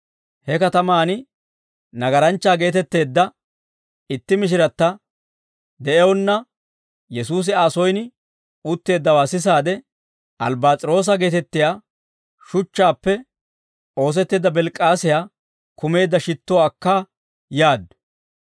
He katamaan nagaranchchaa geetetteedda itti mishiratta de'ewunna, Yesuusi Aa soyin utteeddawaa sisaade, albbass's'iroosa geetettiyaa shuchchaappe oosetteedda albbass's'iroosa baareeta kumeedda shittuwaa akkaa yaaddu.